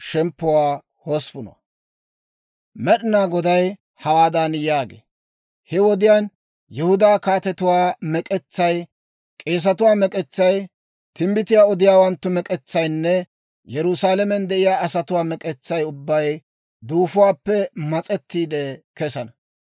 Med'inaa Goday hawaadan yaagee; «He wodiyaan Yihudaa kaatetuwaa mek'etsay, kaappotuwaa mek'etsay, k'eesetuwaa mek'etsay, timbbitiyaa odiyaawanttu mek'etsaynne Yerusaalamen de'iyaa asatuwaa mek'etsay ubbay duufuwaappe mas'ettiide kesana.